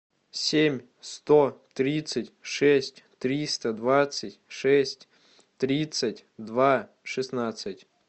семь сто тридцать шесть триста двадцать шесть тридцать два шестнадцать